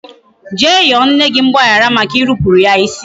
Jee yọọ nne gị mgbaghara maka irupuru ya isi